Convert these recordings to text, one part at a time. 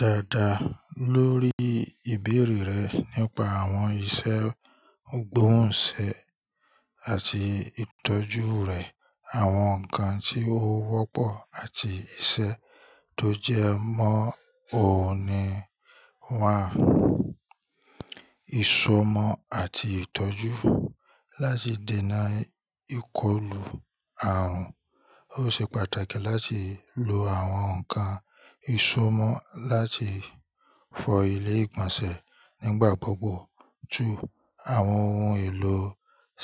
Dáadáa lórí ìbéèrè rẹ nípa àwọn ìṣe gbóhùnṣe àti ìtọ́jú rẹ̀, àwọn nǹkan tí ó wọ́pọ̀ àti ìṣe tó jẹ mọ́ òun ni 1 Ìṣọmọ̀ àti ìtọ́jú: láti dènà ìkọlù àrùn, ó ṣe pàtàkì láti lo àwọn ǹkan ìṣọmọ̀ láti fọ ilé ìgbọ̀nsẹ̀ nígbà gbogbo. 2. Àwọn ohun èlò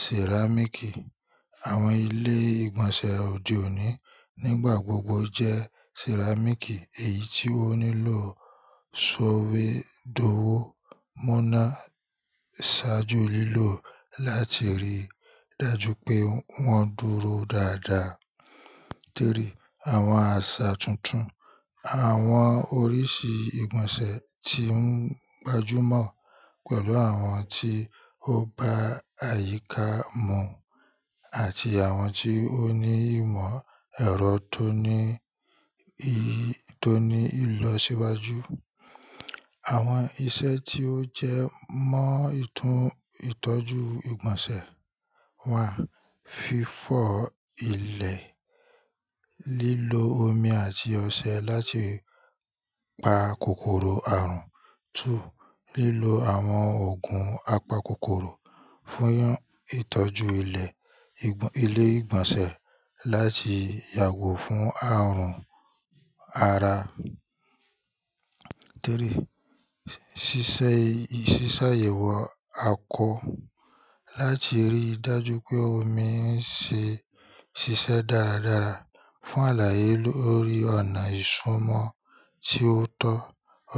ceramic ki, àwọn ilé ìgbọ̀nsẹ̀ òde òní nígbà gbogbo jẹ́ ceramic ki, èyí tí ó nílò ìsọwédowó mọ̀násájú lílò láti rí i dájú pé wọ́n dúró dáadáa. 3. Àwọn àṣà tuntun: àwọn oríṣi ìgbọ̀nsẹ̀ tí ń gbajúmọ̀ pẹ̀lú àwọn tí ó bá àyíká mu àti àwọn tí ó ní ìmọ̀ ẹ̀rọ toni tó ní ìlọsíwájú. Àwọn ìṣe tí ó jẹ mọ́ ìtún ìtọ́jú ìgbọ̀nsẹ̀ wà. Fífọ ilẹ̀: lílo omi àti ọṣẹ láti pa kòkòrò àrùn. 2. Lílo àwọn òògùn apakòkòrò: fún ìtọ́jú ilé, ile ìgbọ̀nsẹ̀ láti yàgò fún àrùn ara. 3. Sísáyẹ̀wò àkó: láti rí i dájú pé omi ń ṣe ṣiṣẹ́ dáradára. Fun alaye lori ona isomo ti oto,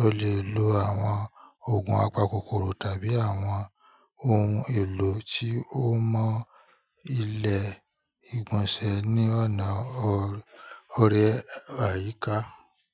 ole lo awon ogun apa kokoro tabi awon ohun elo ti o mo ile igbonse ni ona or ayika.